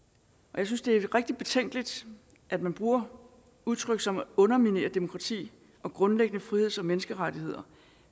jeg synes det er rigtig betænkeligt at man bruger udtryk som at underminere demokrati og grundlæggende friheds og menneskerettigheder